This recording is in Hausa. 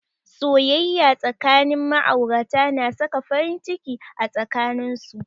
Soyayya tsakanin ma'aurata na saka farin ciki a tsakanin su.